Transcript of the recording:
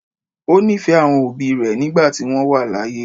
ó nífẹ̀ẹ́ àwọn òbí rẹ̀ nígbà tí wọ́n wà láàyè.